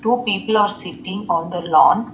Two people are sitting on the lawn.